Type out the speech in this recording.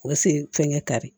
O siri ye fɛnkɛ kari